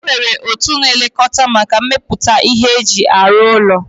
Enwere otu na-elekota maka mmeputa ihe ndi e ji arụ ụlọ